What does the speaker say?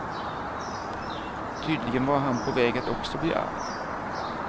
Tydligen var han på väg att också bli arg.